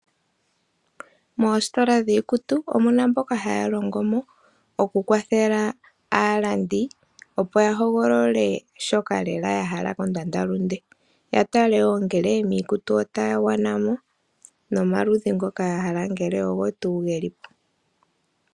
Moositola dhiikutu omuna mboka haya longomo, oku kwathela aalandi opo yahogolole shoka lela yahala kondandalunde. Yatale wo ngele miikutu otaya gwanamo nomaludhi ngoka yahala ngele ogo tuu gelimo.